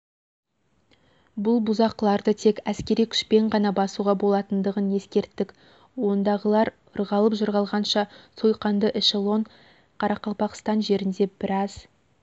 бұл бұзақыларды тек әскери күшпен ғана басуға болатынын ескерттік ондағылар ырғалып-жырғалғанша сойқанды эшелон қарақалпақстан жерінде біраз